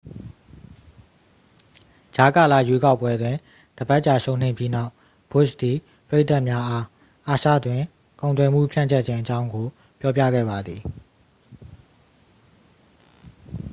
ကြားကာလရွေးကောက်ပွဲတွင် တစ်ပတ်ကြာရှုံးနိမ့်ပြီးနောက် ဘွတ်ရှ်သည် ပရိသတ်များအား အာရှတွင် ကုန်သွယ်မှုဖြန့်ကျက်ခြင်းအကြောင်းကို ပြောပြခဲ့ပါသည်